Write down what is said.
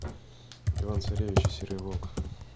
иван царевич и серый волк